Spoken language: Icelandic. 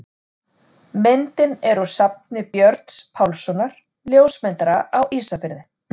Myndin er úr safni Björns Pálssonar, ljósmyndara á Ísafirði.